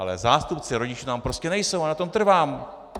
Ale zástupci rodičů tam prostě nejsou a na tom trvám!